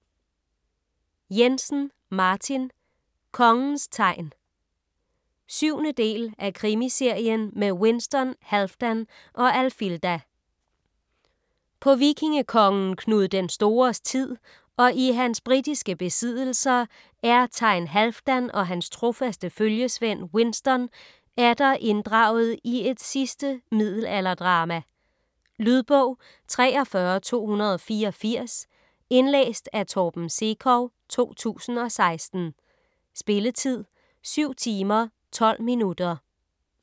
Jensen, Martin: Kongens thegn 7. del af Krimiserien med Winston, Halfdan og Alfilda. På vikingekongen Knud den Stores tid og i hans britiske besiddelser er Thegn Halfdan og hans trofaste følgesvend Winston atter inddraget i et sidste middelalderdrama. . Lydbog 43284 Indlæst af Torben Sekov, 2016. Spilletid: 7 timer, 12 minutter.